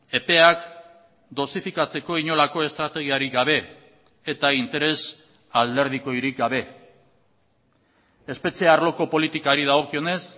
epeak dosifikatzeko inolako estrategiarik gabe eta interes alderdikorik gabe espetxe arloko politikari dagokionez